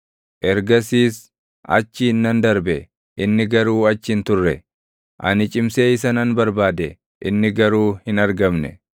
Ergasiis achiin nan darbe; inni garuu achi hin turre; ani cimsee isa nan barbaade; inni garuu hin argamne.